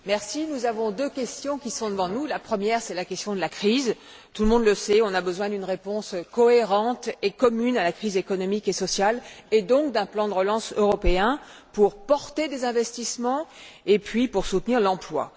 Monsieur le Président, deux questions se posent à nous. La première, c'est la question de la crise. Tout le monde le sait, il faut une réponse cohérente et commune à la crise économique et sociale et donc un plan de relance européen pour porter les investissements et pour soutenir l'emploi.